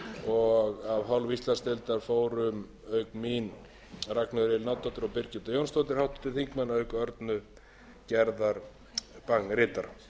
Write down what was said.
og af hálfu íslandsdeildar fóru auk mín ragnheiður elín árnadóttir og birgitta jónsdóttir háttvirtir þingmenn auk örnu gerðar bang ritara